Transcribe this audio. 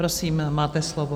Prosím, máte slovo.